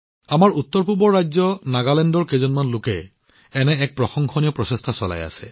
আমাৰ উত্তৰপূবৰ ৰাজ্য নাগালেণ্ডৰ কিছুমান বন্ধুৰ দ্বাৰা এনে এক প্ৰশংসনীয় প্ৰচেষ্টা কৰা হৈছে